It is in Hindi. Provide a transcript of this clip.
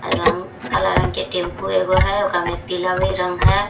रंग काला रंग के टैम्पू एगो है ओकरा में पीला भी रंग है।